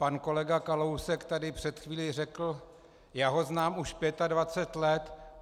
Pan kolega Kalousek tady před chvílí řekl: Já ho znám už 25 let.